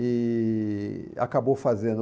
E acabou fazendo.